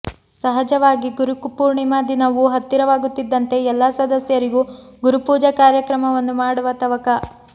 ಸಹಜವಾಗಿ ಗುರುಪೂರ್ಣಿಮಾ ದಿನವು ಹತ್ತಿರವಾಗುತ್ತಿದ್ದಂತೆ ಎಲ್ಲಾ ಸದಸ್ಯರಿಗೂ ಗುರುಪೂಜಾ ಕಾರ್ಯಕ್ರಮವನ್ನು ಮಾಡುವ ತವಕ